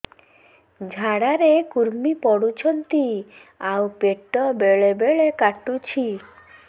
ଝାଡା ରେ କୁର୍ମି ପଡୁଛନ୍ତି ଆଉ ପେଟ ବେଳେ ବେଳେ କାଟୁଛି